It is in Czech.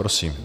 Prosím.